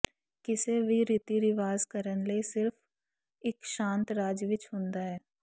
ਕਿਸੇ ਵੀ ਰੀਤੀ ਰਿਵਾਜ ਕਰਨ ਲਈ ਸਿਰਫ਼ ਇੱਕ ਸ਼ਾਂਤ ਰਾਜ ਵਿੱਚ ਹੁੰਦਾ ਹੈ